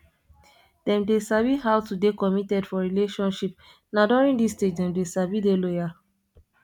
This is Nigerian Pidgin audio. dem dey sabi how to dey committed for relationship na during this stage dem dey sabi dey loyal